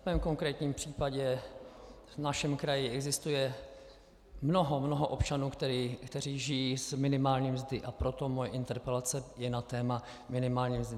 V mém konkrétním případě v našem kraji existuje mnoho, mnoho občanů, kteří žijí z minimální mzdy, a proto moje interpelace je na téma minimální mzdy.